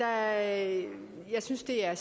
at vi synes det er